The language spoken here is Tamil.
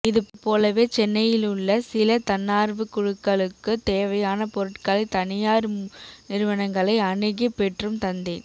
இது போலவே சென்னையிலுள்ள சில தன்னார்வக் குழுக்களுக்குத் தேவையான பொருட்களை தனியார் நிறுவனங்களை அணுகிப் பெற்றும் தந்தேன்